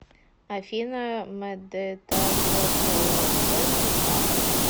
афина мдтавплдтвап